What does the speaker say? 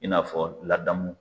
I n'afɔ ladamu